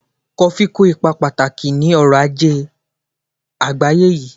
Kofí kó ipa pàtàkì ní ọrọ-ajé àgbègbè yìí